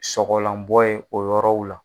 Sɔgɔlanbɔ ye o yɔrɔw la.